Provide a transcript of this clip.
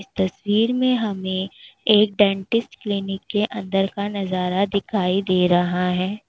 इस तस्वीर में हमें एक डेंटिस्ट क्लिनिक के अंदर का नजारा दिखाई दे रहा है।